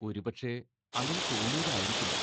ഒരു പക്ഷേ, അങ്ങനെ തോന്നിയതായിരിക്കുമോ?